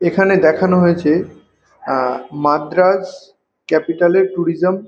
এখানে দেখানো হয়েছে আ মার্দ্রাস ক্যাপিটাল -এর ট্যুরিজম ।